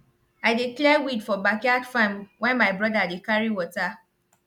i dey clear weed for backyard farm while my brother dey carry water